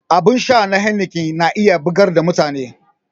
Abin sha na heineken na iya bugar da mutane